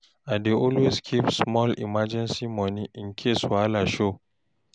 I dey always keep small emergency money in case wahala show.